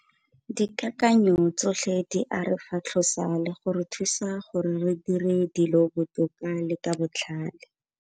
Dikakanyo tsotlhe di a re fatlhosa le go re thusa gore re dire dilo botoka le ka botlhale.